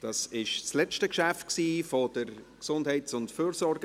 Dies war das letzte Geschäft der GEF.